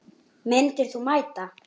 Myndir þú mæta?